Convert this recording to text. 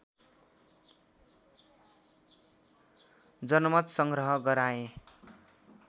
जनमत सङ्ग्रह गराए